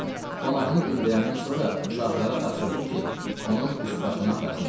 Qonağını dindirəndən sonra uşaqlara tapşırdım ki, onun üsbəşını axtarsınlar.